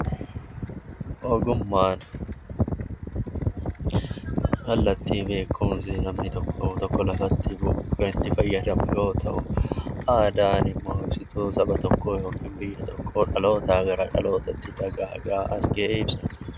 Ogummaan kallattii beekumsi namni tokko qabu tokko lafatti ittiin kan ittii fayyadamu yoo ta'u, aadaanimmoo ibsituu saba tokkoo yookaan biyya tokkoo dhalootaa gara dhalootaa dagaagaa as ga'e ibsa.